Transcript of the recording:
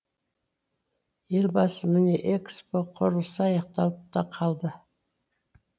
елбасы міне экспо құрылысы аяқталып та қалды